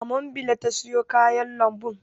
A mambila ta sayo kayan lambun.